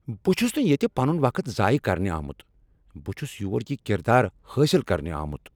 بہٕ چُھس نہٕ ییتِہ پنُن وقت ضایِہ کرنِہ آمُت ، بہٕ چُھس یور یِہ کردار حٲصل کرنِہ آمُت ۔